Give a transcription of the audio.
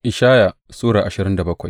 Ishaya Sura ashirin da bakwai